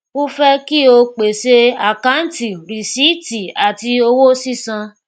a fẹ kí o pèsè àkáǹtì rìsíìtì àti owó sísan